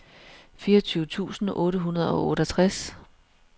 fireogtyve tusind otte hundrede og otteogtres